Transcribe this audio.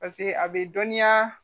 pase a be dɔnniya